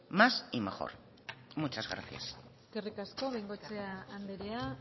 más y mejor muchas gracias eskerrik asko bengoechea andrea